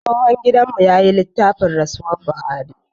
Tsohon gidan mu ya yi tilafin rasuwar buhari